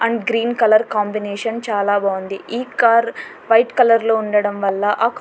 And green colour combination చాలా బావుంది. ఈ కార్ వైట్ కలర్ లో ఉండడం వల్ల ఆ--